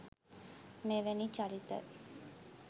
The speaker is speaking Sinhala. මෙවැනි චරිත